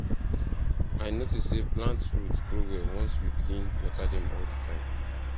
i notice say plant root grow well once we begin water them all the time